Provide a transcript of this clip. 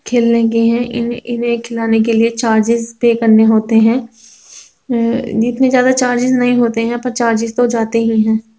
खेलने गए हैं ई इन्हें खिलाने के लिए चार्जेज पेय करने होते हैं| अ इतने ज़्यादा चार्जेज नहीं होते हैं पर चार्जेज तो जाते ही हैं।